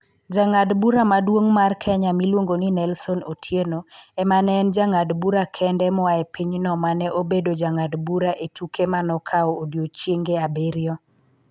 Jang'ad bura maduong ' mar Kenya miluongo ni Nelson Otieno ema ne en jang'ad bura kende moa e pinyno ma ne obedo jang'ad bura e tuke ma nokawo odiechienge abiriyo.